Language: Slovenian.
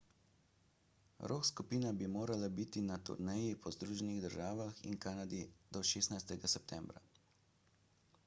rock skupina bi morala biti na turneji po združenih državah in kanadi do 16 septembra